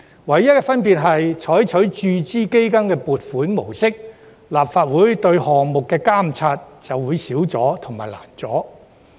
唯一的分別是，採用注資基金的撥款模式，立法會對有關項目的監察便會更少及更困難。